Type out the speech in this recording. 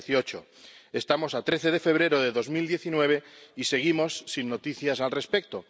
2018. Estamos a 13 de febrero de 2019 y seguimos sin noticias al respecto.